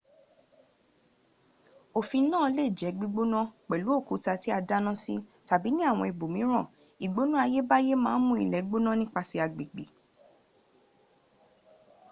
ọ̀fìn náà lẹ jé gbígbóná pèlú òkúta tí a dáná sí tàbí ní àwọn ibòmíràn ìgbóná ayébáyé maà ǹ mú ilè gbóná nípasè agbègbè